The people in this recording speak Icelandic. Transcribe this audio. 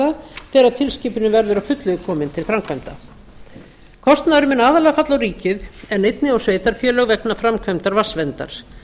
og skýrslugerða þegar tilskipunin verður að fullu komin til framkvæmda kostnaðurinn mun aðallega falla á ríkið en einnig á sveitarfélög vegna framkvæmdar vatnsverndar